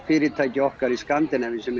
fyrirtæki okkar í Skandinavíu sem